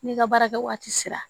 N'i ka baara kɛ waati sera